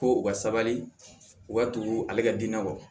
Ko u ka sabali u ka tugu ale ka dinɛ kɔ